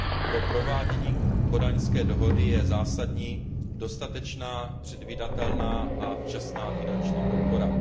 Pro provádění kodaňské dohody je zásadní dostatečná, předvídatelná a včasná finanční podpora.